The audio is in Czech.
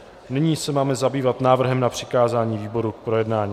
Nyní se máme zabývat návrhem na přikázání výborům k projednání.